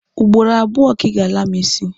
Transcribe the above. Ugboro abuo ka I ga-ala mu isi